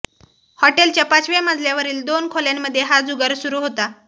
हॉटेलच्या पाचव्या मजल्यावरील दोन खोल्यामध्ये हा जुगार सुरु होता